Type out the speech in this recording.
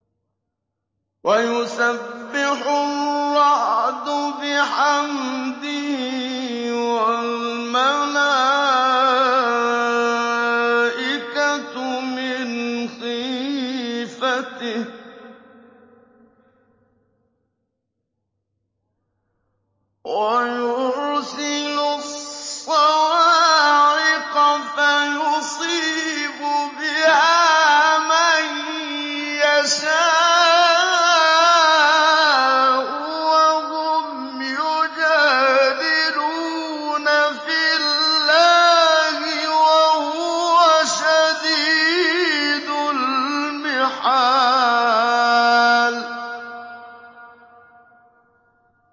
وَيُسَبِّحُ الرَّعْدُ بِحَمْدِهِ وَالْمَلَائِكَةُ مِنْ خِيفَتِهِ وَيُرْسِلُ الصَّوَاعِقَ فَيُصِيبُ بِهَا مَن يَشَاءُ وَهُمْ يُجَادِلُونَ فِي اللَّهِ وَهُوَ شَدِيدُ الْمِحَالِ